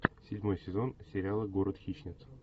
седьмой сезон сериала город хищниц